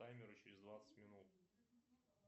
таймер через двадцать минут